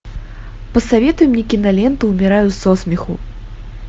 посоветуй мне киноленту умираю со смеху